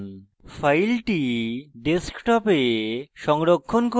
file ডেস্কটপে সংরক্ষণ করব